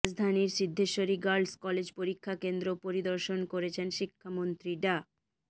রাজধানীর Siddheswari girls college পরীক্ষা কেন্দ্র পরিদর্শন করেছেন শিক্ষামন্ত্রী ডা